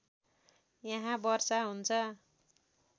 यहाँ वर्षा हुन्छ